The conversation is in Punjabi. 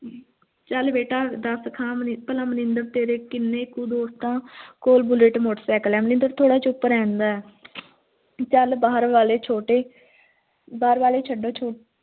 ਚੱਲ ਬੇਟਾ ਦਸ ਖਾਂ ਭਲਾ ਮਨਿੰਦਰ ਤੇਰੇ ਕਿੰਨਾ ਕੁ ਦੋਸਤ ਆ ਕੋਲ ਬੁਲਟ motorcycle ਹੈ ਮਨਿੰਦਰ ਚੁੱਪ ਰਹਿੰਦਾ ਹੈ ਚੱਲ ਬਾਹਰ ਵਾਲੇ ਛੋਟੇ ਬਾਹਰ ਵਾਲੇ ਛੱਡੋ ਛੋਟੇ